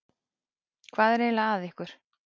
Hvað er eiginlega að ykkur?